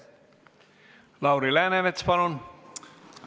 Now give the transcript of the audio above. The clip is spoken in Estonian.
Lauri Läänemets, palun!